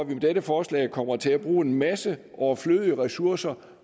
med dette forslag kommer til at bruge en masse overflødige ressourcer